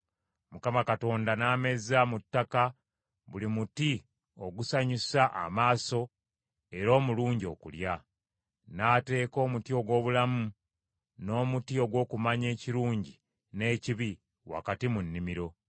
Mukama Katonda n’ameza mu ttaka buli muti ogusanyusa amaaso era omulungi okulya. N’ateeka omuti ogw’obulamu, n’omuti ogw’okumanya ekirungi n’ekibi wakati mu nnimiro.